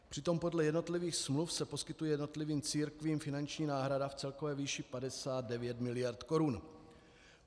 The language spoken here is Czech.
Přitom podle jednotlivých smluv se poskytuje jednotlivým církvím finanční náhrada v celkové výši 59 miliard korun.